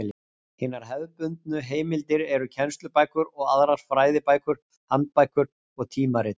Hinar hefðbundnu heimildir eru kennslubækur og aðrar fræðibækur, handbækur og tímarit.